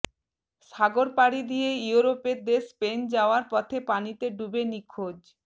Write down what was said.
সাগর পাড়ি দিয়ে ইউরোপের দেশ স্পেন যাওয়ার পথে পানিতে ডুবে নিখোঁজ